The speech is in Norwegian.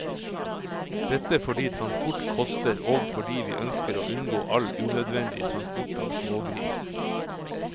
Dette fordi transport koster og fordi vi ønsker å unngå all unødvendig transport av smågris.